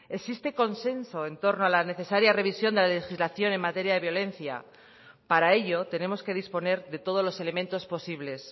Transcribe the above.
existe consenso en torno a la necesaria revisión de la legislación en materia de violencia para ello tenemos que disponer de todos los elementos posibles